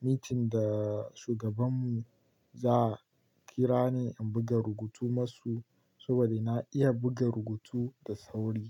meeting da shugabanmu, za'a kira ni in buga rubutu masu saboda na iya buga rubutu da sauri.